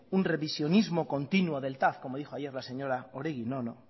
un revisionismo continuo del tav como dijo ayer la señora oregi no